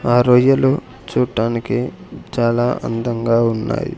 ఆ రొయ్యలు చూడ్డానికి చాలా అందంగా ఉన్నాయి.